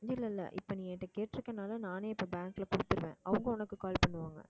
இல்லை இல்லை இப்போ நீ என்கிட்ட கேட்டிருக்கனாலே நானே இப்போ bank ல கொடுத்திருவேன் அவங்க உனக்கு call பண்ணுவாங்க